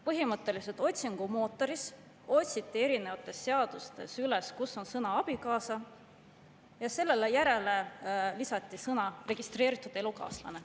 Põhimõtteliselt otsiti otsingumootoriga seadustes üles kohad, kus oli sõna "abikaasa", ja selle järele lisati sõnad "registreeritud elukaaslane".